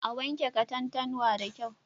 A wanke katantanwa da kyau.